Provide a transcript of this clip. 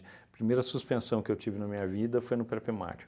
primeira suspensão que eu tive na minha vida foi no pré-primário.